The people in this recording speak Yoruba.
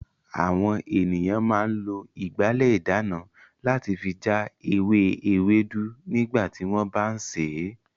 Àwọn ènìyàn máa ń lo ìgbálẹ̀ ìdáná láti fi já ewé ewédú nígbà tí wọ́n bá ń sè é.